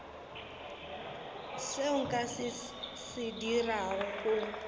seo nka se dirago go